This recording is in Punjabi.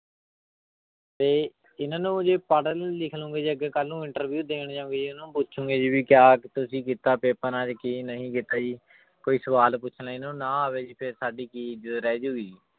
ਤੇ ਇਹਨਾਂ ਨੂੰ ਜੇ ਪੜ੍ਹ ਲਿਖ ਲਓਂਗੇ ਜੇ ਅੱਗੇ ਕੱਲ੍ਹ ਨੂੰ interview ਦੇਣ ਜਾਓਗੇ ਇਹਨੂੰ ਪੁੱਛੋਗੇ ਜੀ ਵੀ ਕਿਆ ਤੁਸੀਂ ਕੀਤਾ ਪੇਪਰਾਂ ਚ ਕੀ ਨਹੀਂ ਕੀਤਾ ਜੀ, ਕੋਈ ਸਵਾਲ ਪੁੱਛ ਲਿਆ ਇਹਨਾਂ ਨੂੰ ਨਾ ਆਵੇ ਜੀ ਫਿਰ ਸਾਡੀ ਕੀ ਇੱਜਤ ਰਹਿ ਜਾਊਗੀ।